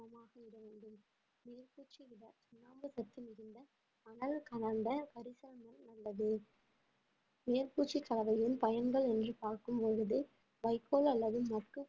மணல் கலந்த கொண்டது மேற்பூச்சுக் கலவையின் பயன்கள் என்று பார்க்கும் பொழுது வைக்கோல் அல்லது மொட்டு